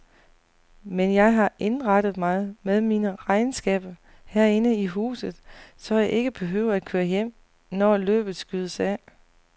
Men jeg har indrettet mig med mine regnskaber herinde i huset, så jeg ikke behøver at køre hjem, når løbet skydes af.